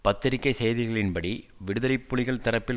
பத்திரிகை செய்திகளின் படி விடுதலை புலிகள் தரப்பில்